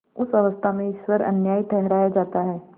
उस अवस्था में ईश्वर अन्यायी ठहराया जाता है